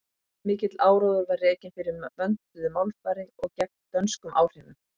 mikill áróður var rekinn fyrir vönduðu málfari og gegn dönskum áhrifum